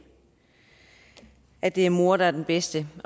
at det er mor der er den bedste